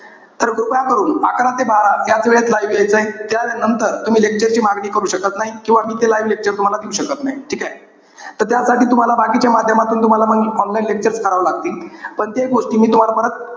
तर कृपया करून, अकरा ते बारा याचवेळत live यायचंय. त्यानंतर तुम्ही lecture ची मागणी करू शकत नाही. किंवा मी ते live lecture तुम्हाला देऊ शकत नाही. ठीकेय? त त्यासाठी तुम्हाला बाकीच्या माध्यमातून तुम्हाला मग online lecture करावे लागतील. पण ते गोष्टी मी तुम्हाला परत,